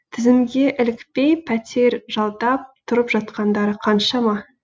тізімге ілікпей пәтер жалдап тұрып жатқандары қаншама